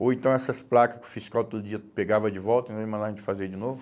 Ou então essas placas que o fiscal todo dia pegava de volta né? E mandava a gente fazer de novo.